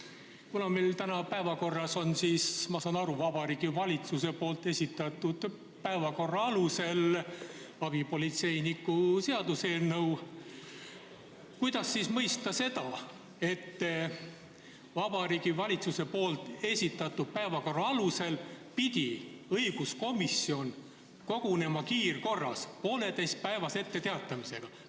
Kuna meil on täna päevakorras – ma saan aru, Vabariigi Valitsuse esitatud päevakorra alusel – abipolitseiniku seaduse eelnõu, siis kuidas mõista seda, et Vabariigi Valitsuse esitatud päevakorra alusel pidi õiguskomisjon kogunema kiirkorras poolteisepäevase etteteatamisega?